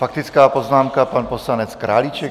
Faktická poznámka, pan poslanec Králíček.